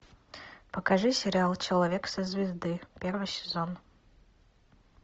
покажи сериал человек со звезды первый сезон